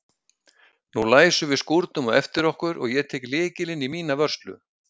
Nú læsum við skúrnum á eftir okkur og ég tek lykilinn í mína vörslu.